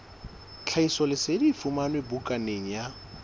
tlhahisoleseding e fumanwe bukaneng ya